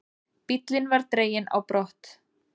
Bíllinn var dreginn á brott.